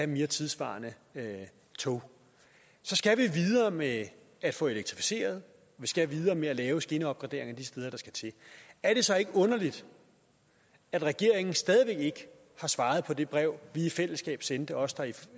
mere tidssvarende tog så skal vi videre med at få elektrificeret vi skal videre med at lave skinneopgraderinger de steder det skal til er det så ikke underligt at regeringen stadig væk ikke har svaret på det brev vi i fællesskab sendte os der er